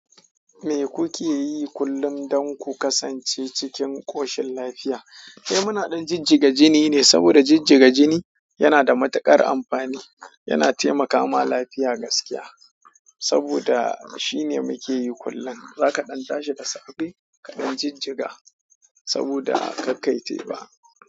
Me kuke yi kullum dan ku kasance cikin koshin lafiya. Eh, muna ɗan jijjiga jini ne saboda jijjiga jini yana da matuƙar amfani. Yana taimakama lafiya gaskiya saboda shine munke yi kullum. Za ka ɗan tashi da safe kaɗan jijjiga saboda ka kai teba.